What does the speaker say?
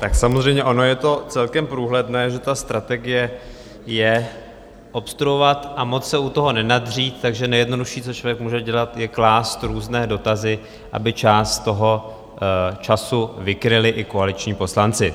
Tak samozřejmě ono je to celkem průhledné, že ta strategie je obstruovat a moc se u toho nenadřít, takže nejjednodušší, co člověk může dělat, je klást různé dotazy, aby část toho času vykryli i koaliční poslanci.